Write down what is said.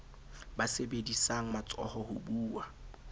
ba sebedisang matsoho ho buwa